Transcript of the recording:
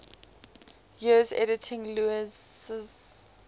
years editing lewes's